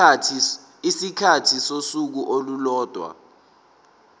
isikhathi sosuku olulodwa